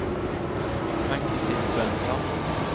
Ann-Kristin Svensson